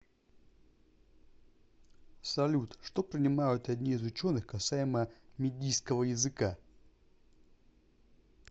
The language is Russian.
салют что принимают одни из ученых касаемо мидийского языка